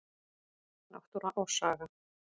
Náttúra og saga.